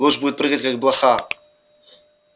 луч будет прыгать как блоха